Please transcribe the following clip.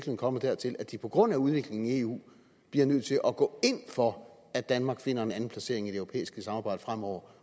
kommet dertil at de på grund af udviklingen i eu bliver nødt til at gå ind for at danmark finder en anden placering i det europæiske samarbejde fremover